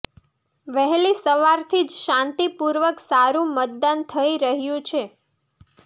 વહેલી સવારથી જ શાંતિ પૂર્વક સારું મતદાન થઇ રહ્યું છે